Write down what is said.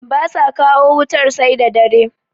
ba sa kawo wutar sai dare